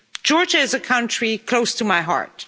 Georgia is a country close to my heart.